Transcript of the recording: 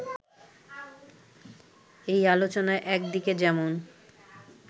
এই আলোচনায় একদিকে যেমন